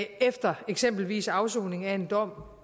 efter eksempelvis afsoning af en dom